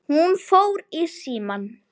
Hún fór í símann.